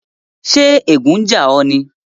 Ṣè ègùn n jà o ní?